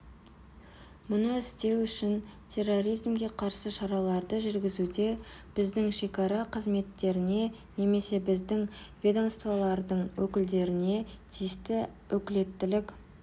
мұны істеу үшін терроризмге қарсы шараларды жүргізуде біздің шекара қызметтеріне немесе біздің ведомстволардың өкілдеріне тиісті өкілеттілік